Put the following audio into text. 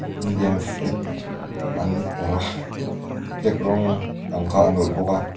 indian flag an awrh a flag rawng ang kha an awrh bawk a.